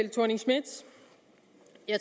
af